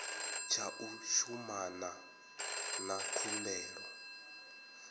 tsha u shumana na khumbelo